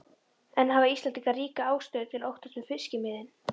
En hafa Íslendingar ríka ástæðu til að óttast um fiskimiðin?